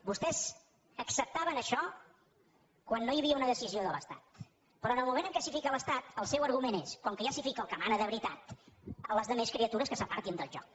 vostès acceptaven això quan no hi havia una decisió de l’estat però en el moment en què s’hi fica l’estat el seu argument és com que ja s’hi fica el que mana de veritat la resta de criatures que s’apartin del joc